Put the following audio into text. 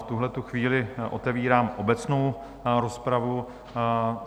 V tuhle chvíli otevírám obecnou rozpravu.